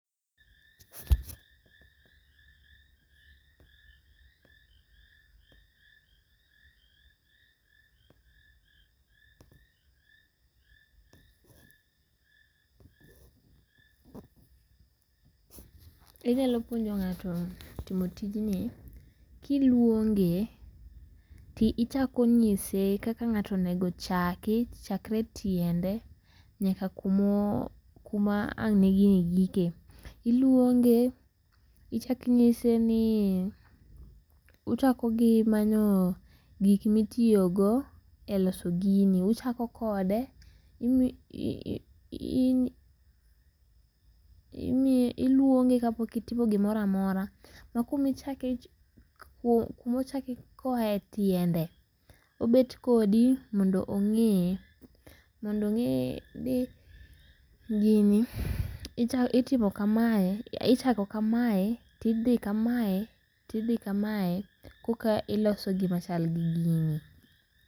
Inyalo puonjo ng'ato timo tijni kiluonge tichako nyise kaka ng'ato onego chaki chakre tiende nyaka kumo ,kuma ang' gini gikie. Iluonge ichak inyise nii uchako gimanyo gik mitiyogo eloso gini. Uchako kode iluonge kapok itimo gimoro amora ma kumichake ,kumaochake koa e tiende obet kodi mondo ong'ee, mondo ong'ee ni gini itimo ichako kamae tidhi kamae koka iloso gima chal gi gini.